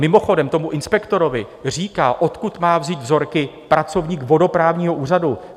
Mimochodem, tomu inspektorovi říká, odkud má vzít vzorky, pracovník vodoprávního úřadu.